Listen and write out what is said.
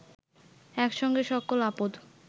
একসঙ্গে সকল আপদ